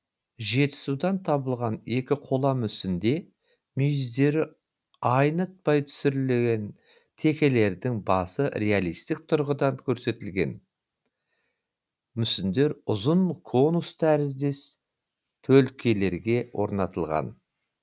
жетісудан табылған екі қола мүсінде мүйіздері айнытпай түсірілген текелердің басы реалистік тұрғыда керсетілген мүсіндер ұзын конус тәріздес төлкелерге орнатылған